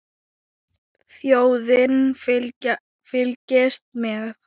Þjóðin fylgist með.